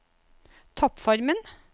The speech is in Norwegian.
toppformen